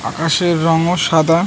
আকাশের রংও সাদা ।